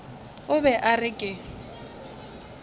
o be a re ke